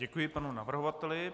Děkuji panu navrhovateli.